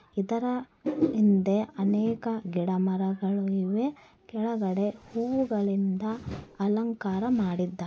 ಇದರ ಹಿಂದೆ ಅನೇಕ ಗಿಡಮರಗಳು ಇವೆ. ಕೆಳಗಡೆ ಹೂವಿನಿಂದ ಅಲಂಕಾರ ಮಾಡಿದ್ದ--